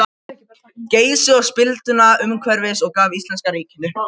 Geysi og spilduna umhverfis og gaf íslenska ríkinu.